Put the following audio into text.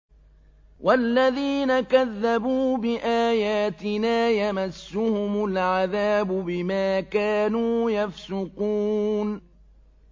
وَالَّذِينَ كَذَّبُوا بِآيَاتِنَا يَمَسُّهُمُ الْعَذَابُ بِمَا كَانُوا يَفْسُقُونَ